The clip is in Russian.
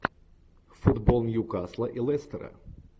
футбол ньюкасла и лестера